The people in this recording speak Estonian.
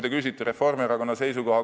Te küsite Reformierakonna seisukohta.